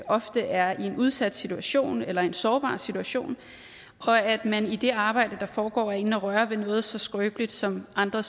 ofte er i en udsat situation eller en sårbar situation og at man i det arbejde der foregår er inde at røre ved noget så skrøbeligt som andre